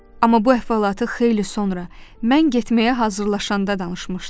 Amma bu əhvalatı xeyli sonra, mən getməyə hazırlaşanda danışmışdı.